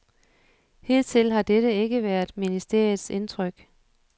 Hidtil har dette ikke været ministeriets indtryk.